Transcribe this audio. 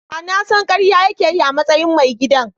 Da na san karya yake yi a matsayin mai gidan.